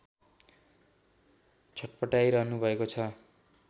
छट्पटाइरहनु भएको छ